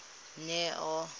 neo